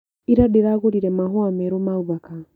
Ira ndĩragũrire mahũa merũ ma ũthaka.